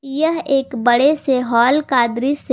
यह एक बड़े से हॉल का दृश्य--